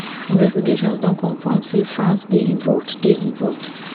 investigations don confam say france dey involved dey involved